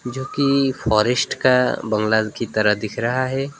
जो की फॉरेस्ट का बंगला की तरह दिख रहा है।